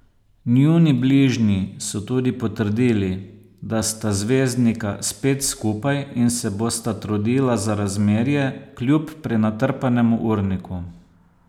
Njuni bližnji so tudi potrdili, da sta zvezdnika spet skupaj in se bosta trudila za razmerje, kljub prenatrpanemu urniku.